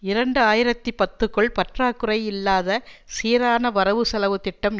இரண்டு ஆயிரத்தி பத்துக்குள் பற்றாக்குறை இல்லாத சீரான வரவுசெலவு திட்டம்